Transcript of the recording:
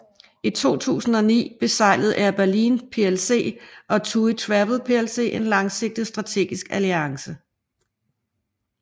I 2009 beseglede Air Berlin PLC og TUI Travel PLC en langsigtet strategisk alliance